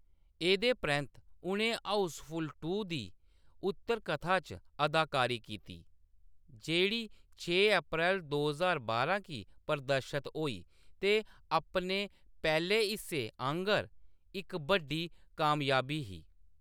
एह्‌‌‌दे परैंत्त उʼनें हाउसफुल टु दी उत्तर-कथा च अदाकारी कीती, जेह्‌‌ड़ी छे अप्रैल दो ज्हार बारां गी प्रदर्शत होई ते अपने पैह्‌ले हिस्से आंह्‌गर इक बड्डी कामयाबी ही।